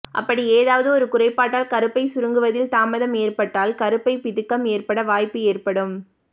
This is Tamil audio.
அப்படி ஏதாவது ஒரு குறைபாட்டால் கருப்பை சுருங்குவதில் தாமதம் ஏற்பட்டால் கருப்பை பிதுக்கம் ஏற்பட வாய்ப்பு ஏற்படும்